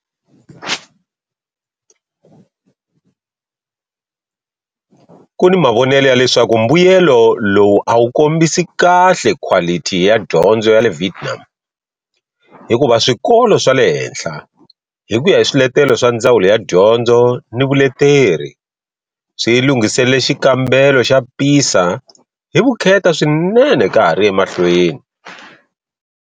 Ku ni mavonelo ya leswaku mbuyelo lowu a wu kombisi kahle khwalithi ya dyondzo ya le Vietnam hikuva swikolo swa le henhla, hi ku ya hi swiletelo swa Ndzawulo ya Dyondzo ni Vuleteri, swi lunghiselele xikambelo xa PISA hi vukheta swinene ka ha ri emahlweni.